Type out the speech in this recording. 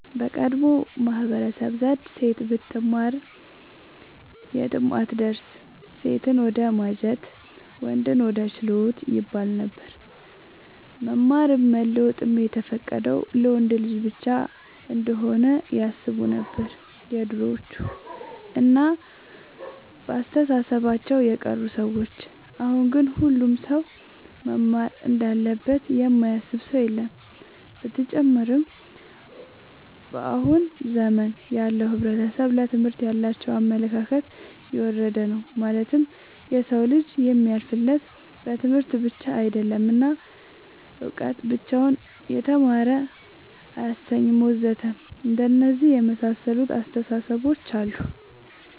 በቀደሙት ማህበረሰቦች ዘንድ ሴት ብትማር የትም አትደርስም ሴትን ወደማጀት ወንድን ወደ ችሎት ይባለነበር። መማርም መለወጥም የተፈቀደው ለወንድ ልጅ ብቻ እንሆነ ያስቡነበር የድሮዎቹ እና በአስተሳሰባቸው የቀሩ ሰዎች አሁን ግን ሁሉም ሰው መማር እንዳለበት የማያስብ ሰው የለም። ብተጨማርም በአሁን ዘመን ያለው ሕብረተሰብ ለትምህርት ያላቸው አመለካከት የወረደ ነው ማለትም የሰው ልጅ የሚያልፍለት በትምህርት ብቻ አይደለም እና እውቀት ብቻውን የተማረ አያሰኝም ወዘተ አንደነዚህ የመሳሰሉት አስታሳሰቦች አሉ